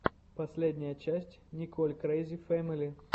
последняя часть николь крэйзи фэмили